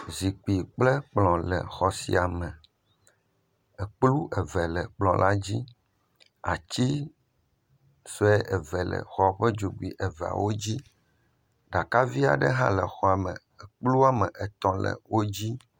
Zikpui kple kplɔ le xɔ sia me, ekplu eve le kplɔ la dzi, ati sue eve le xɔ ƒe dzogoe eveawo dzi, ɖaka vi aɖe hã le exɔa me ekplu woame etɔ̃ le edzi.